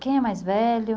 Quem é mais velho?